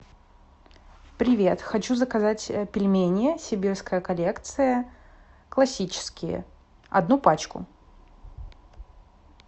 привет хочу заказать пельмени сибирская коллекция классические одну пачку